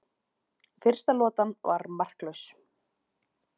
Fyrsta lotan var markalaus